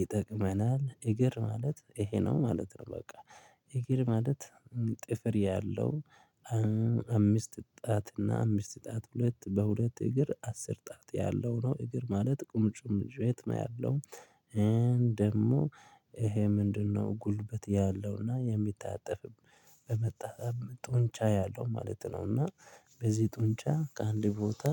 ይጠቅመናል እግር ማለት ይሄ ነው ማለት ነው። በቃ እግር ማለት ጥፍር ያለው አምስት ጣት እና አምስት ጣት ሁለት በሁለት እግር አስር ጣት ያለው ነው። እግር ማለት ቁርጭምጭሚት ነው ያለው። ደሞ ይሄ ምንድነው? ጉልበት ያለውና የሚታጠፍ በመታጠፍ ጡንቻ ያለው ማለት ነው። እና በዚህ ጡንቻ ከአንድ ቦታ